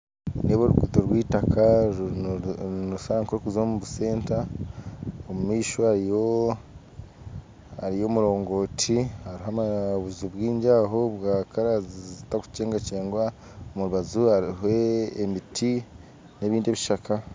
Nindeeba oruguto rw'eitaaka nirushusha nk'orurikuza omu busenta omumaisho hariyo omurongooti hariho n'obuju bwingi aho bw'erangi zitarikukyegwakyegwa omu rubaju hariho emiti n'ebindi ebishaka